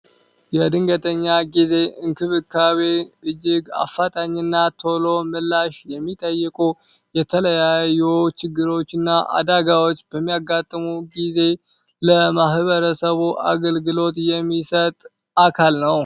የድንገተኛ ጊዜ እንክብካቤ እጅግ አፋጣኝና ቶሎ ምላሽ የሚጠይቁ የተለያዩ ችግሮች እና አዳጋዎች በሚያጋጥሙ ጊዜ ለማህበረሰቡ አገልግሎት የሚሰጥ አካል ነው።